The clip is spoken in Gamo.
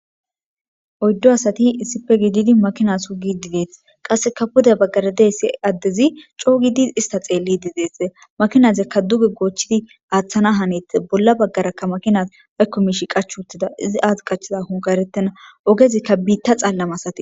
Oydi asati issipe gididiakina sugidi betetes pude bagara qaseka diza nazi co gidi ista xeelidi dese makinaka duge gochidi athana hanetes bollanika